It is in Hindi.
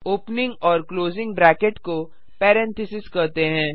ओपनिंग और क्लोजिंग ब्रैकेट को पैरेंथेसिस कहते हैं